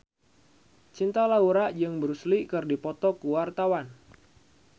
Cinta Laura jeung Bruce Lee keur dipoto ku wartawan